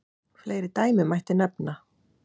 Fleiri dæmi mætti nefna.